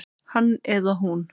Hann eða hún